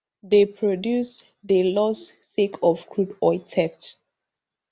dey produce dey loss sake of crude oil theft